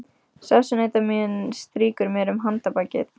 Sessunautur minn strýkur mér um handarbakið.